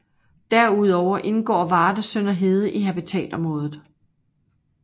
Derudover indgår Varde Sønderhede i habitatområdet